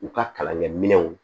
U ka kalankɛminɛnw